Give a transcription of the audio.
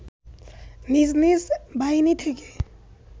নিজ নিজ বাহিনী থেকে